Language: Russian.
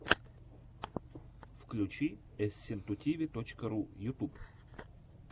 включи эсситутиви точка ру ютьюб